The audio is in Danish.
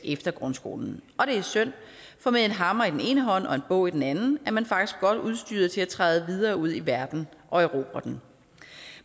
efter grundskolen og det er synd for med en hammer i den ene hånd og en bog i den anden er man faktisk godt udstyret til at træde videre ud i verden og erobre den